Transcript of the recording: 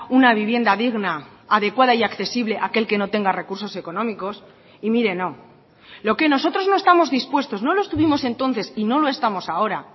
una vivienda digna adecuada y accesible a aquel que no tenga recursos económicos y mire no lo que nosotros no estamos dispuestos no lo estuvimos entonces y no lo estamos ahora